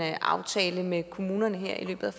aftale med kommunerne her i løbet